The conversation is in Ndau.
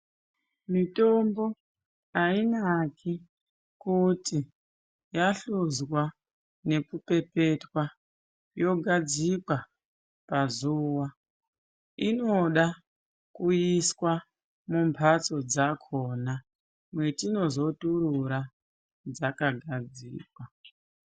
Mitombo hainaki kuti yahlozwa nekupepetwa yogadzikwa pazuwa. Inoda kuiswa mumbatso dzaakona metinozoturura dzakagadzikwa.